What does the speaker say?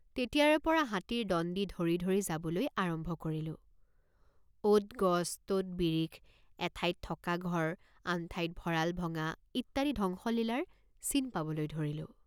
তেতিয়াৰেপৰা হাতীৰ দণ্ডি ধৰি ধৰি যাবলৈ আৰম্ভ কৰিলেঁ৷। অত গছ তত বিৰিখ এঠাইত থকা ঘৰ আন ঠাইত ভঁৰাল ভঙা ইত্যাদি ধ্বংসলীলাৰ চিন পাবলৈ ধৰিলোঁ।